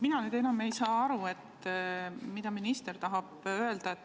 Mina nüüd enam ei saa aru, mida minister tahab öelda.